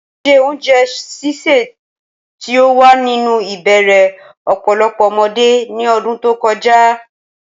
Ṣé oúnjẹ sísè tí ó wà nínú ìbẹ̀rẹ̀ ọ̀pọ̀lọpọ̀ ọmọdé ní ọdún tó kọjá?